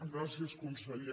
gràcies conseller